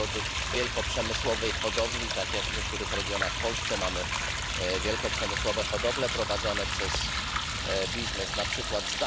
produkt z wielkoprzemysłowej hodowli, tak jak w niektórych regionach w Polsce mamy wielkoprzemysłowe hodowle prowadzone przez biznes z np.